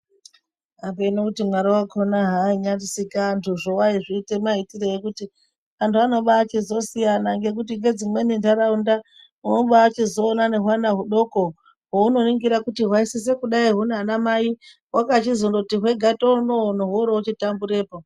Apeno kuti Mwari wakhona haainyasika vantu zvo waizviite maitirei ekuti antu anobachizosiyana ngekuti ngedzimweni nharaunda unobachizoona nehwana hudoko hwounoningira kuti hwaisisa kudai hunaana mai hwakachizoti hwega tonono hworoochitamburepo .